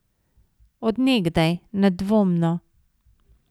Od nekdaj, nedvomno.